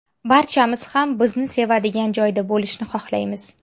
Barchamiz ham bizni sevadigan joyda bo‘lishni xohlaymiz.